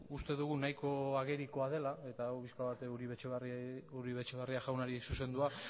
uste dugu nahiko agerikoa dela eta hau pixka bat uribe etxebarria jaunari zuzendua